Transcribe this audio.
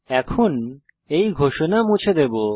এখন আমরা এই ঘোষণা মুছে দেবো